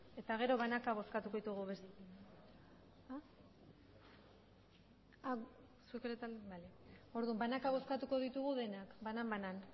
eta gero banaka bozkatuko ditugu besteak orduan banaka bozkatuko ditugu denak banan banan